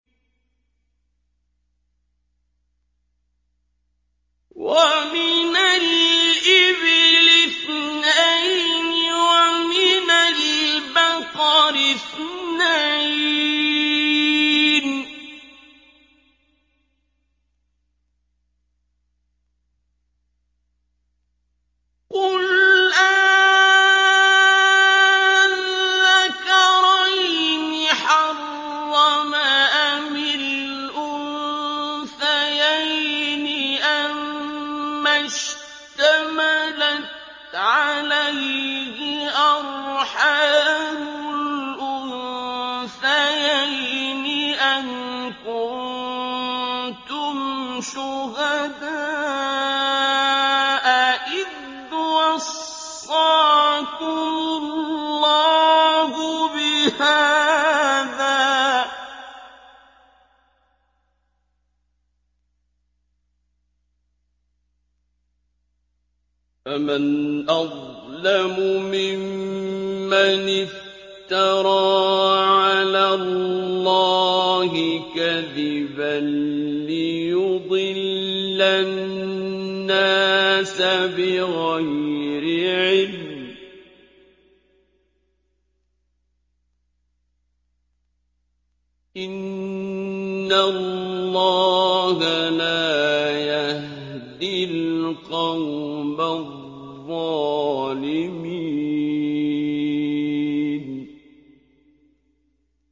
وَمِنَ الْإِبِلِ اثْنَيْنِ وَمِنَ الْبَقَرِ اثْنَيْنِ ۗ قُلْ آلذَّكَرَيْنِ حَرَّمَ أَمِ الْأُنثَيَيْنِ أَمَّا اشْتَمَلَتْ عَلَيْهِ أَرْحَامُ الْأُنثَيَيْنِ ۖ أَمْ كُنتُمْ شُهَدَاءَ إِذْ وَصَّاكُمُ اللَّهُ بِهَٰذَا ۚ فَمَنْ أَظْلَمُ مِمَّنِ افْتَرَىٰ عَلَى اللَّهِ كَذِبًا لِّيُضِلَّ النَّاسَ بِغَيْرِ عِلْمٍ ۗ إِنَّ اللَّهَ لَا يَهْدِي الْقَوْمَ الظَّالِمِينَ